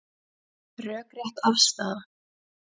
Rökrétt afstaða